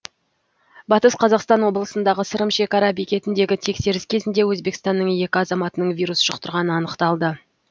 батыс қазақстан облысындағы сырым шекара бекетіндегі тексеріс кезінде өзбекстанның екі азаматының вирус жұқтырғаны анықталды